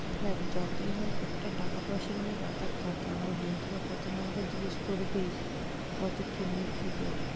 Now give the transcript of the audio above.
দেখ যতই হোক একটা টাকা পয়সা নিয়ে ব্যাপার থাকে আমার বন্ধুরা প্রথমে আমাকে জিজ্ঞেস করবেই কতো কি কেমনি কী দেবে।